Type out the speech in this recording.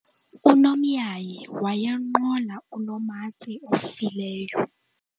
unomyayi wayenqola unomatse ofileyo